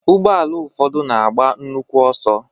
Ụgbọala ụfọdụ na-agba nnukwu ọsọ.